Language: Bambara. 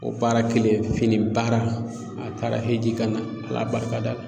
O baara kelen fini baara a taara Eji kana ala barika da.